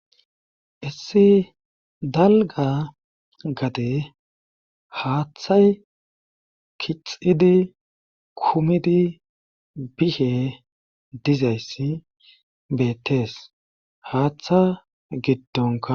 issi dalga gade haaththay kixidi kumidi bishe dizayssi beettees haaththa giddonka